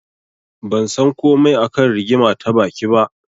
Ban san komai a kan rigima ta baki ba.